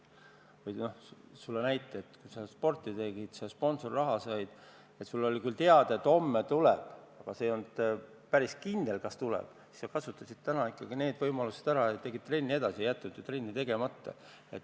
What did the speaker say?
Ma toon sulle näite: kui sa sporti tegid ja sponsorraha said, siis oli sul küll teada, et homme raha tuleb, aga see ei olnud päris kindel, ja sa kasutasid täna ikkagi need võimalused ära ja tegid trenni edasi, ei jätnud trenni tegemata.